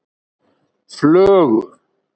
Flögu